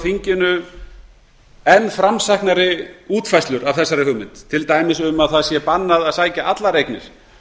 fram enn framsæknari útfærslur á þessari hugmynd til dæmis að bannað sé að sækja allar eignir